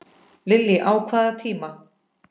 Lillý: Á hvaða tíma?